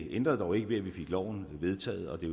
ændrede dog ikke ved at vi fik loven vedtaget og det